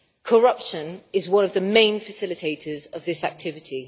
Corruption is one of the main facilitators of this activity.